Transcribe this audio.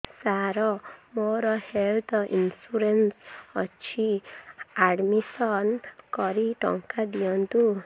ସାର ମୋର health insurance ଅଛି admission କରି ଟଙ୍କା ଦିଅନ୍ତୁ